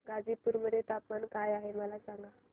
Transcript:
गाझीपुर मध्ये तापमान काय आहे सांगा